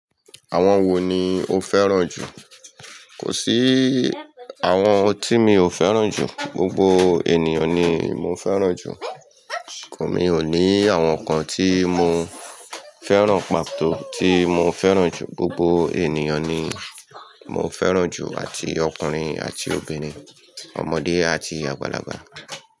Àwọn wo ni o fẹ́ràn jù? Kò sí àwọn tí mi ò fẹ́ràn jù. Gbogbo ènìyàn ni mo fẹ́ràn jù. Mí o ni àwọn kan tí mo fẹ́ràn pàtó tí mo fẹ́ràn jù. Gbogbo ènìyàn ni mo fẹ́ràn jù àti ọkùnrin àti obìnrin, ọmọdé àti àgbàlagbà.